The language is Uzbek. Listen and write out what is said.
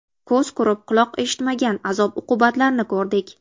Ko‘z ko‘rib, quloq eshitmagan azob-uqubatlarni ko‘rdik.